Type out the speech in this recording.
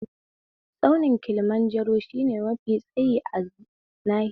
Tsaunin Kilimanjaro shine mafi tsayi a nahiyar Afirika